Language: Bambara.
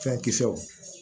Fɛn kisɛw